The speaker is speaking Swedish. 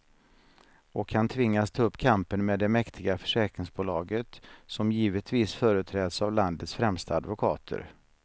Och han tvingas ta upp kampen med det mäktiga försäkringsbolaget, som givetvis företräds av landets främsta advokater.